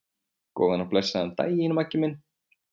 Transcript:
Góðan og blessaðan daginn, Maggi minn.